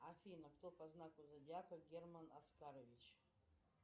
афина кто по знаку зодиака герман оскарович